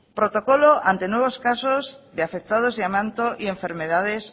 protocolo ante nuevos casos de afectados de amianto y enfermedades